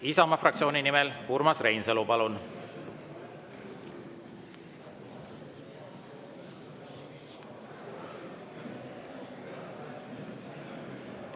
Isamaa fraktsiooni nimel Urmas Reinsalu, palun!